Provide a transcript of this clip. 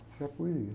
Essa é a poesia.